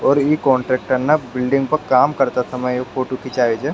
और इ कांट्रेक्टर ने बिल्डिंग पर काम करते समय ये फोटो खिचाई छे।